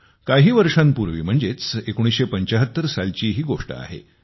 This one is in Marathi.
काही वर्षोंपूर्वी म्हणजेच 1975 सालची ही गोष्ट आहे